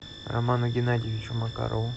роману геннадьевичу макарову